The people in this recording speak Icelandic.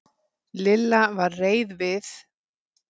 Lilla var reið við